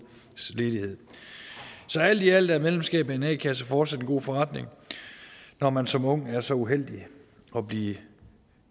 ledighed så alt i alt er medlemskab af en a kasse fortsat en god forretning når man som ung er så uheldig at blive